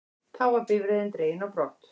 Þá var bifreiðin dregin á brott